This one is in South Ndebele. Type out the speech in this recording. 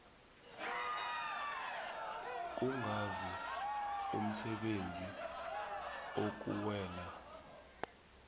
kungazi umsebenzi okuwela